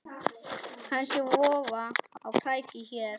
Kannski vofa á kreiki hér.